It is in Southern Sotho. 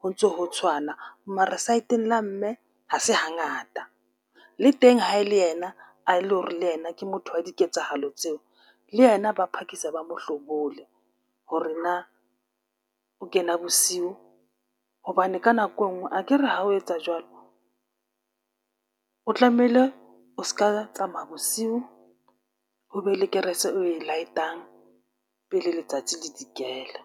ho ntso ho tshwana mare saeteng la mme, ha se hangata. Le teng ha e le yena a e le hore le yena ke motho wa diketsahalo tseo le yena ba phakisa ba mo hlobole hore na o kena bosiu hobane ka nako enngwe akere ha o etsa jwalo, o tlamehile o ska tsamaya bosiu, ho be le kerese oe light-ang pele letsatsi le dikela.